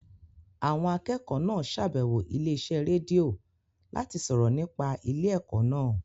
Àwọn akẹ́kọ̀ọ́ náà ṣàbẹ̀wọ̀ ilé iṣẹ́ rédíò láti sọ̀rọ̀ nípa ilé ẹ̀kọ́ náà